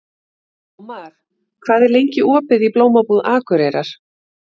Ómar, hvað er lengi opið í Blómabúð Akureyrar?